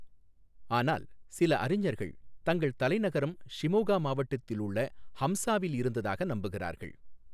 ஆனால், சில அறிஞர்கள் தங்கள் தலைநகரம் ஷிமோகா மாவட்டத்தில் உள்ள ஹம்சாவில் இருந்ததாக நம்புகிறார்கள்.